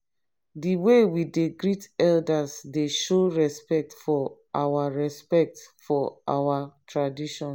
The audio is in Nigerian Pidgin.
di way we dey greet elders dey show respect for our respect for our traditions.